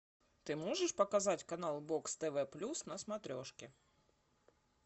ты можешь показать канал бокс тв плюс на смотрешке